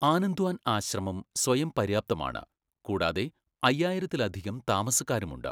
ആനന്ദ്വാൻ ആശ്രമം സ്വയംപര്യാപ്തമാണ്, കൂടാതെ അയ്യായിരത്തിലധികം താമസക്കാരുമുണ്ട്.